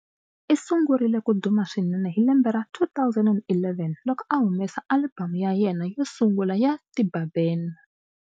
I sungurile ku duma swinene hi lembe ra 2011 loko a humesa alibamu ya yena yo sungula ya 'Tiba Ben'.